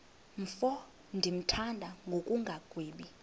mfo ndimthanda ngokungagwebi